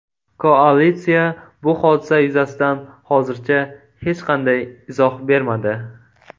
Koalitsiya bu hodisa yuzasidan hozircha hech qanday izoh bermadi.